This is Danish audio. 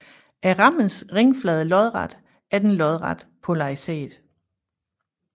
Er rammens ringflade lodret er den lodret polariseret